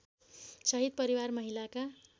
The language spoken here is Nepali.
शहीद परिवार महिलाका